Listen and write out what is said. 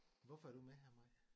Hvorfor er du med her Mai?